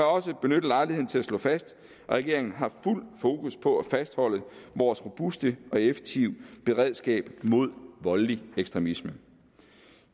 også benytte lejligheden til at slå fast at regeringen har fuld fokus på at fastholde vores robuste og effektive beredskab mod voldelig ekstremisme